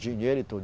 Dinheiro e tudo.